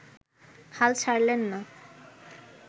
হাল ছাড়লেন না